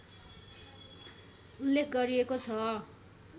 उल्लेख गरिएको छ